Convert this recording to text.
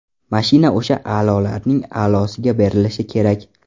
Mashina o‘sha a’lolarning a’losiga berilishi kerak.